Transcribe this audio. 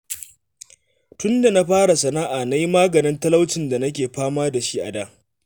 Tunda na fara sana'a na yi maganin talaucin da nake fama da shi a da